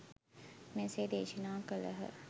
මෙසේ දේශනා කළහ.